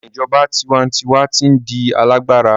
Awọn ijọba tiwantiwa ti n di alagbara